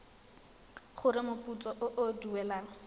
gore moputso o o duelwang